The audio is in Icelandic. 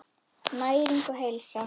Næring og heilsa.